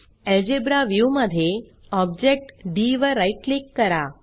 algebra view मधे object D वर right click करा